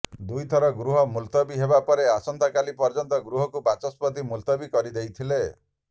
ଦୁଇଥର ଗୃହ ମୁଲତବୀ ହେବା ପରେ ଆସନ୍ତାକାଲି ପର୍ଯ୍ୟନ୍ତ ଗୃହକୁ ବାଚସ୍ପତି ମୁଲତବୀ କରିଦେଇଥିଲେ